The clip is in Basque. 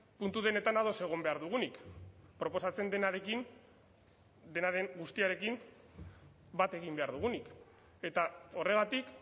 puntu denetan ados egon behar dugunik proposatzen denarekin denaren guztiarekin bat egin behar dugunik eta horregatik